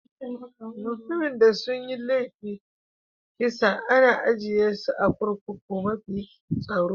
Mutani da sun yi laifin kisa ana ajie su a'kurkukun mafi tsaro.